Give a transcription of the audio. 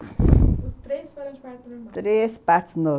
Os três foram de partos normais... Três partos normais.